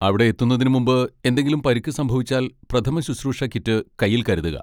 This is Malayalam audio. അവിടെയെത്തുന്നതിന് മുമ്പ് എന്തെങ്കിലും പരിക്ക് സംഭവിച്ചാൽ പ്രഥമശുശ്രൂഷ കിറ്റ് കയ്യിൽ കരുതുക.